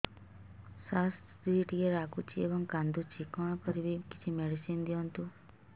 ସାର ସ୍ତ୍ରୀ ଟିକେ ରାଗୁଛି ଏବଂ କାନ୍ଦୁଛି କଣ କରିବି କିଛି ମେଡିସିନ ଦିଅନ୍ତୁ